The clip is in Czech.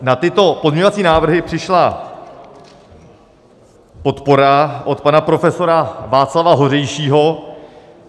Na tyto pozměňovací návrhy přišla podpora od pana profesora Václava Hořejšího.